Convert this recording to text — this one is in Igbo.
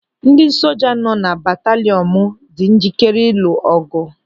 Ndị soja nọ na batalịọn m dị njikere ilu ọgụ.